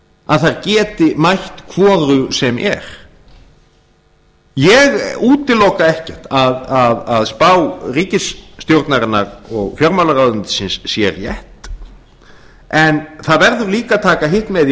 að þær geti mætt hvoru sem er ég útiloka ekki að spá ríkisstjórnarinnar og fjármálaráðuneytisins sé rétt en það verður líka að taka hitt með í